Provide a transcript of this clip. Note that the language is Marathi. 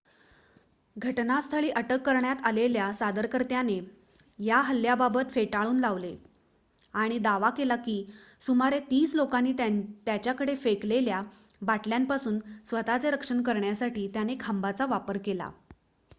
घटनास्थळी अटक करण्यात आलेल्या सादरकर्त्याने या हल्ल्याबाबत फेटाळून लावले आणि दावा केला की सुमारे तीस लोकांनी त्याच्याकडे फेकलेल्या बाटल्यांपासून स्वतःचे रक्षण करण्यासाठी त्याने खांबाचा वापर केला